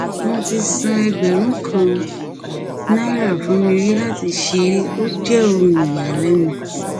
wọn ti san ẹgbẹrún kan náírà fún mi rí láti ṣeré ó jẹ ohun ìyàlẹnu